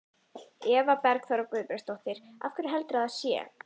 Eva Bergþóra Guðbergsdóttir: Af hverju heldurðu að það sé?